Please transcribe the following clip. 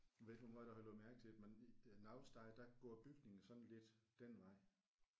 Jeg ved ikke hvor meget du har lagt mærke til det men i nogle steder der går bygningerne sådan lidt den vej